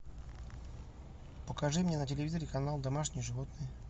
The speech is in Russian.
покажи мне на телевизоре канал домашние животные